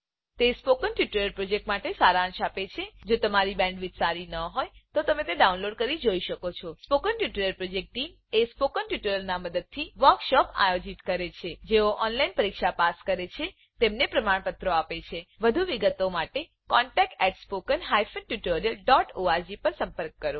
તે spoken tutorial પ્રોજેક્ટનો સારાંશ આપે છે જો તમારી બેન્ડવિડ્થ સારી ન હોય તો તમે ડાઉનલોડ કરી તે જોઈ શકો છો spoken tutorial project team spoken ટ્યુટોરીયલોનાં મદદથી વર્કશોપોનું આયોજન કરે છે જેઓ ઓનલાઈન પરીક્ષા પાસ કરે છે તેમને પ્રમાણપત્રો આપે છે વધુ વિગત માટે કૃપા કરી contactspoken tutorialorg પર સંપર્ક કરો